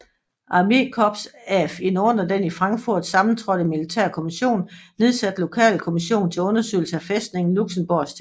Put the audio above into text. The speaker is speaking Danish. Armékorps af en under den i Frankfurt sammentrådte militære kommission nedsat lokalkommission til undersøgelse af fæstningen Luxembourgs tilstand